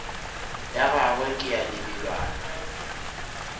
ya gagwe ke ya lebelwana